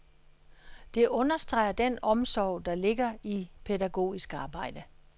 Det understreger den omsorg, der ligger i pædagogisk arbejde.